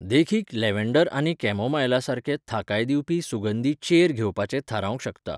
देखीक, लॅव्हँडर आनी कॅमोमायलासारके थाकाय दिवपी सुगंधी चेर घेवपाचें थारावंक शकता.